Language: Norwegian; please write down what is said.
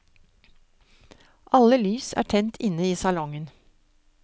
Alle lys er tent inne i salongen.